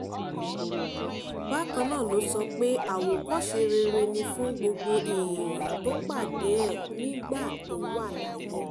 bákan náà ló sọ pé àwòkọ́ṣe rere ni fún gbogbo èèyàn tó pàdé ẹ̀ nígbà tó wà láyé